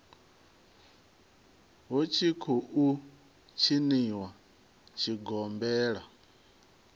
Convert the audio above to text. hu tshi khou tshiniwa tshigombela